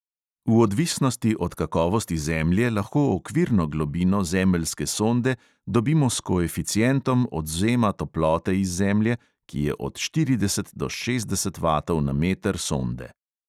V odvisnosti od kakovosti zemlje lahko okvirno globino zemeljske sonde dobimo s koeficientom odvzema toplote iz zemlje, ki je od štirideset do šestdeset vatov na meter sonde.